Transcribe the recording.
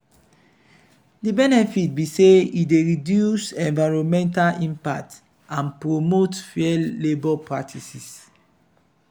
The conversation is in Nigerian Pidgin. di benefit be say e dey reduce environmental impact and promote fair labor practices.